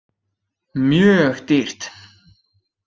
Mjög dýrt.